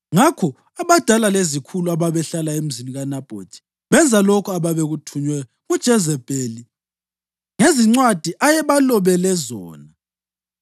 Ngakho abadala lezikhulu ababehlala emzini kaNabhothi benza lokho ababekuthunywe nguJezebheli ngezincwadi ayebalobele zona.